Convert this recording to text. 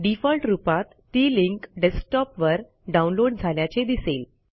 default रूपात ती link डेस्कटॉपवर डाऊनलोड झाल्याचे दिसेल